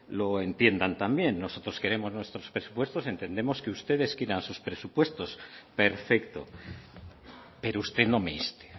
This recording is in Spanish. lo entiendan también nosotros queremos nuestros presupuestos entendemos que ustedes quieran sus presupuestos perfecto pero usted no me inste